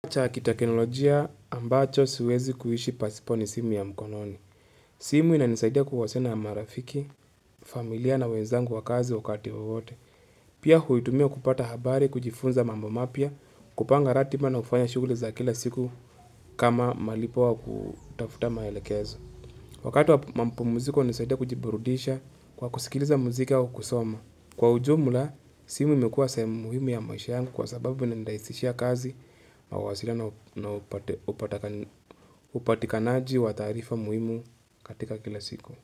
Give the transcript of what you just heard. Kifaa cha kiteknolojia ambacho siwezi kuishi pasipo ni simu ya mkononi. Simu inanisaidia kuwasiliana na marafiki, familia na wenzangu wa kazi wakati wowote. Pia huitumia kupata habari, kujifunza mambo mapya, kupanga ratiba na kufanya shughuli za kila siku kama malipo ya kutafuta maelekezo. Wakati wa mapumziko hunisaidia kujiburudisha kwa kusikiliza muziki wa kusoma. Kwa ujumla, simu imekuwa sehemu muhimu ya maisha yangu kwa sababu inanirahisishia kazi mawasiliano na upatikanaji wa taarifa muhimu katika kila siku.